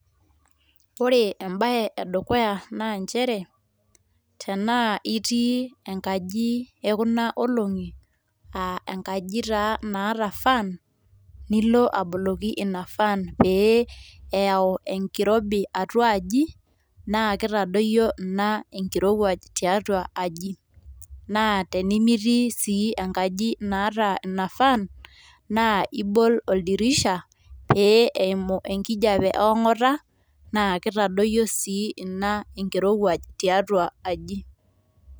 Ore embae edukuya naa nchere tenaa itii enkaji ekuna olongi aa enkaji taa naata fan nilo aboloki ina fan pee eyau enkirobi atua aji naa kitadoyio ina enkirowuaj tiatu aji ,naa timitii sii enaji naata ina fan naa ibol oldirisha pee eimu enkijape eongata naa kitadoyio sii ina enkirowuaj tiatua aji.